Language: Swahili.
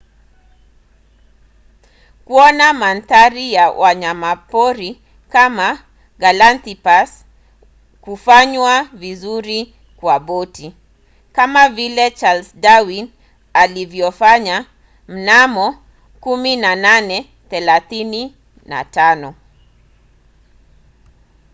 kuona mandhari na wanyamapori wa galapagos hufanywa vizuri kwa boti kama vile charles darwin alivyofanya mnamo 1835